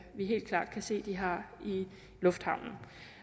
vi helt klart kan se at de har i lufthavnen